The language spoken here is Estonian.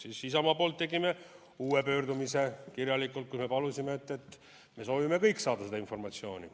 Tegime Isamaa poolt uue pöördumise kirjalikult, kus me palusime, et me kõik soovime saada seda informatsiooni.